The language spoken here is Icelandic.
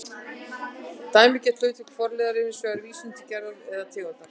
Dæmigert hlutverk forliðar er hins vegar vísun til gerðar eða tegundar